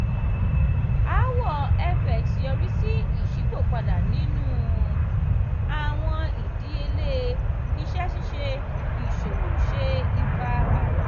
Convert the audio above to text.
aawọ fx yori si iṣipopada ninu awọn idiyele iṣẹ ṣiṣe iṣowo ṣe ipa ala.